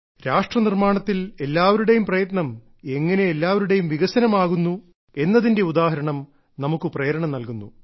രാഷ്ട്രനിർമ്മാണത്തിൽ എല്ലാവരുടെയും പ്രയത്നം എങ്ങനെ എല്ലാവരുടെയും വികസനം ആകുന്നു എന്നതിന്റെ ഉദാഹരണം നമുക്ക് പ്രേരണ നൽകുന്നു